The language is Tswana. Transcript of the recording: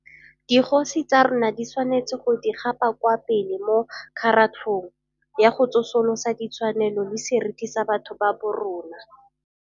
Dikgosi tsa rona di tshwanetse go di gapa kwa pele mo kgaratlhong ya go tsosolosa di tshwanelo le seriti sa batho ba borona.